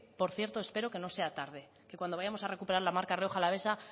por cierto espero que no sea tarde que cuando vayamos a recuperar la marca rioja alavesa